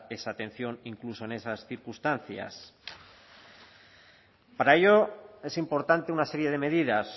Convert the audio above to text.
esa atención e incluso en esas circunstancias para ello es importante una serie de medidas